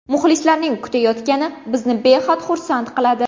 Muxlislarning kutayotgani bizni behad xursand qiladi.